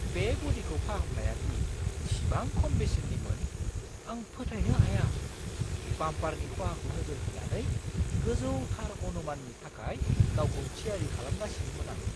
बे ब'डिखौ फाहामनाया दि इसिबां खम बेसेननिमोन, आं फोथायनो हाया! बाम्पारनि खहाखौ नोजोर होनानै गोजौथार अनुमाननि थाखाय गावखौ थियारि खालामगासिनोमोन आं!